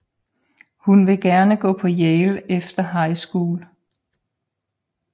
Hun vil gerne gå på Yale efter High School